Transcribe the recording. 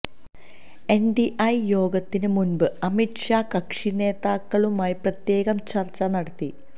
NDA യോഗത്തിന് മുന്പ് അമിത് ഷാ കക്ഷിനേതാക്കളുമായി പ്രത്യേകം ചര്ച്ച നടത്തി